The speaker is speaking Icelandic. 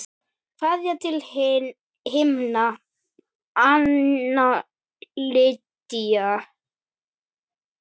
Kveðja til himna, Anna Lydía.